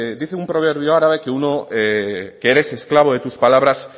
dice un proverbio árabe que eres esclavo de tus palabras